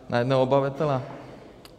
Na jednoho obyvatele?